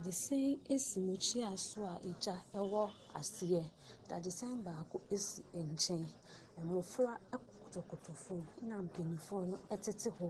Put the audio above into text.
Dadesɛn si mmukyia so a gya wɔ aseɛ, dadesɛn baako sisi nkyɛn, mmɔfra koto fam na mpanimfoɔ no tete hɔ,